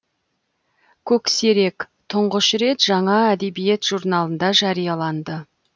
көксерек тұңғыш рет жаңа әдебиет журналында жарияланды